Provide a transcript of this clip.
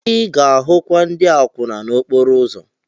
Ị ga-ahụkwa ndị akwụna n'okporo ụzọ.